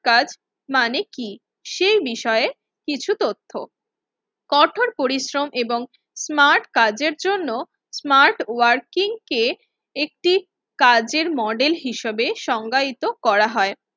কাজ মানে কি? সেই বিষয়ে কিছু তথ্য, কঠোর পরিশ্রম এবং স্মার্ট কাজের জন্য স্মার্ট ওয়ার্কিংকে একটি কাজের মডেল হিসেবে সংজ্ঞায়িত করা হয়।